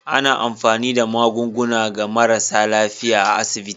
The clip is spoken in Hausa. Ana amfani da magunguna ga marasa lafiyar a asiɓiti.